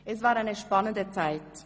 Es war eine spannende Zeit.